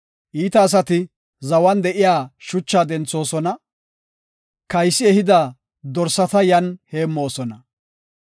Iita asati zawan de7iya shuchaa denthoosona; kaysi ehida dorsata yan heemmoosona.